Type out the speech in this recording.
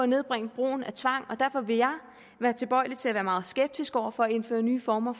nedbringe brugen af tvang og derfor vil jeg være tilbøjelig til at være meget skeptisk over for at indføre nye former